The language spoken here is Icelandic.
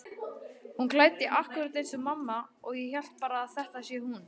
Hún er klædd akkúrat eins og mamma og ég held bara að þetta sé hún.